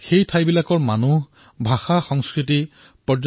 সেই স্থানৰ লোকসমূহ ভাষা সংস্কৃতিৰ বিষয়ে জানক